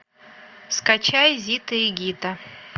скачай зита и гита